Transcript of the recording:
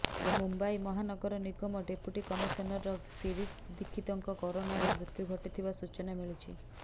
ମୁମ୍ବାଇ ମହାନଗର ନିଗମ deputy commissioner Shirish ଦୀକ୍ଷିତଙ୍କ କରୋନାରେ ମୃତ୍ୟୁ ଘଟିଥିବା ସୂଚନା ମିଳିଛି